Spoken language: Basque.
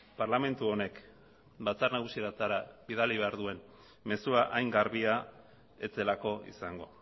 parlamentu honek batzar nagusietara bidali behar duen mezua hain garbia ez zelako izango